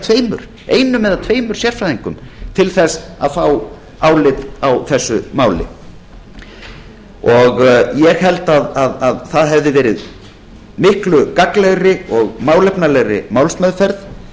tveimur einum eða tveimur sérfræðingum til að fá álit á þessu máli ég held að það hefði orðið miklu gagnlegri og málefnalegri málsmeðferð